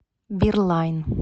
бирлайн